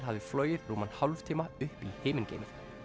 hafði flogið rúman hálftíma upp í himingeiminn